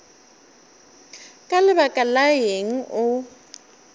ka lebaka la eng o